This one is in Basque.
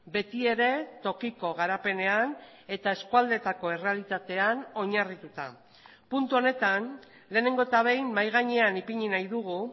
betiere tokiko garapenean eta eskualdetako errealitatean oinarrituta puntu honetan lehenengo eta behin mahai gainean ipini nahi dugu